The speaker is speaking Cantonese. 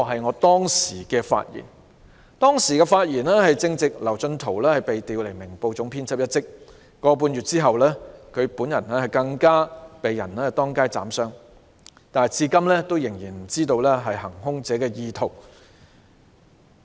我發言的當時，正值劉進圖被調離《明報》總編輯一職，而一個半月後，他更被人當街斬傷，但至今仍無法得知行兇者的意圖。